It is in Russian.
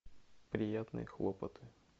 приятные хлопоты